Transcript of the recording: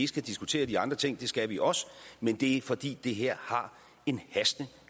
skal diskutere de andre ting det skal vi også men det er fordi det her har en hastende